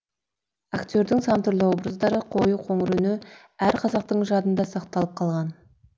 актердің сан түрлі образдары қою қоңыр үні әр қазақтың жадында сақталып қалған